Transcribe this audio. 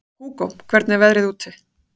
Hugó, hvernig er veðrið úti?